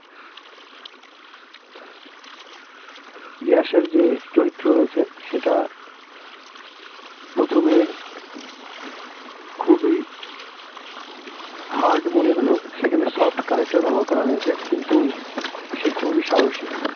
ইয়াসের যে চরিত্র রয়েছে সেটা প্রথমে খুবই hard মনে হল সেখানে soft character ব্যবহার করা হয়েছে কিন্তু সে খুবই সাহসী